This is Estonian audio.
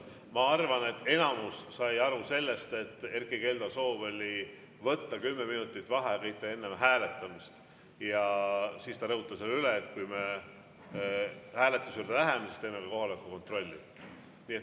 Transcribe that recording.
Ma arvan, et enamus sai aru sellest, et Erkki Keldo soov oli võtta kümme minutit vaheaega enne hääletamist, ja siis ta rõhutas veel üle, et kui me hääletuse juurde läheme, siis teeme ka kohaloleku kontrolli.